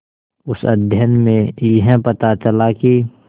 उस अध्ययन में यह पता चला कि